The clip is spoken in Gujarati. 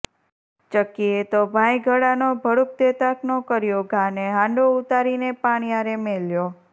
ચકીએ તો ભાય ઘડાનો ભડુક દેતાકનો કર્યો ઘા ને હાંડો ઉતારીને પાણિયારે મેલ્યો